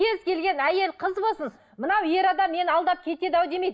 кез келген әйел қыз болсын мынау ер адам мені алдап кетеді ау демейді